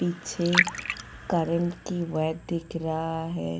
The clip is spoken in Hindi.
पीछे करंट की वैद दिख रहा है.